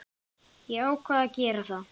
Ég ákvað að gera það.